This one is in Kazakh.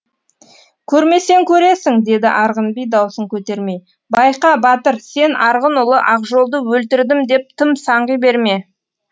көрмесең көресің деді арғын би даусын көтермей байқа батыр сен арғын ұлы ақжолды өлтірдім деп тым саңғи берме